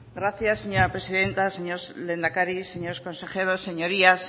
gracias señora presidenta señor lehendakari señores consejeros señorías